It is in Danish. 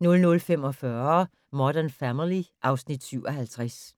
00:45: Modern Family (Afs. 57)